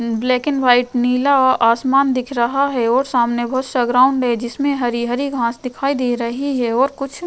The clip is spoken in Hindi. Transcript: ब्लैक एंड व्हाइट नीला और आसमान दिख रहा है और सामने बहुत सारा ग्राउंड है जिस में हरि-हरी घांस दिखाई दे रही है और कुछ --